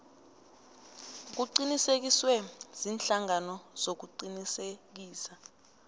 kuqinisekiswe ziinhlangano zokuqinisekisa